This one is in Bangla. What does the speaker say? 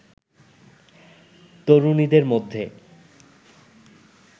তরুণীদের মধ্যে